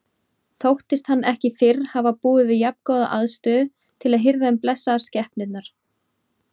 Þóttist hann ekki fyrr hafa búið við jafngóða aðstöðu til að hirða um blessaðar skepnurnar.